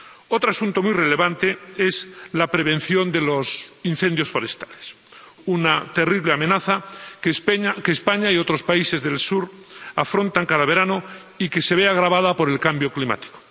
Otro asunto muy relevante es la prevención de los incendios forestales, una terrible amenaza que España y otros países del sur afrontan cada verano y que se ve agravada por el cambio climático.